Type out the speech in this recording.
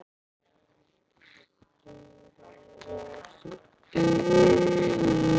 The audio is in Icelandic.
Það gengur ekki upp.